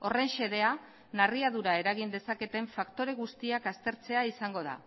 horren xedea narriadura eragin dezaketen faktore guztiak aztertzea izango da